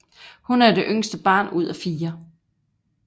Hun er det yngste barn ud af fire